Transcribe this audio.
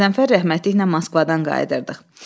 Qəzənfər rəhmətliklə Moskvadan qayıdırdıq.